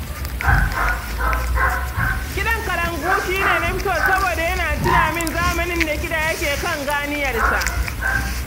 Kiɗan kalangu shi ne na fi so saboda yana tuna min zamanin da kiɗa yake kan ganiyarsa.